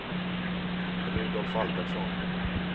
Rudolf Albertsson